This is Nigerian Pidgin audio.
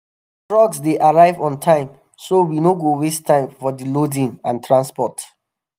trucks dey arrive on time so we no go waste time for di loading and transport.